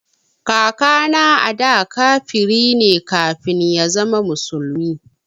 Kakana ada kafiri ne kafin ya zama musulmi